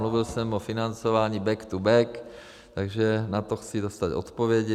Mluvil jsem o financování back-to-back, takže na to chci dostat odpovědi.